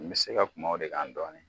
N bɛ se ka kuma o de k'an dɔɔni